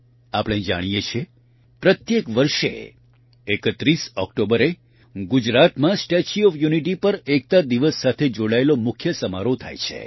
આપણે જાણીએ છીએ પ્રત્યેક વર્ષે ૩૧ ઓકટોબરે ગુજરાતમાં સ્ટેચ્યુ ઓફ યુનિટી પર એકતા દિવસ સાથે જોડાયેલો મુખ્ય સમારોહ થાય છે